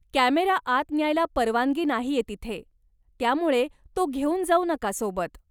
Camera आत न्यायला परवानगी नाहीये तिथे, त्यामुळे तो घेऊन जाऊ नका सोबत.